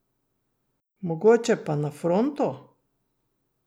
Mogoče pa na fronto?